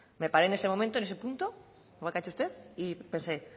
me paré en ese momento en ese punto como aquí ha hecho usted y pensé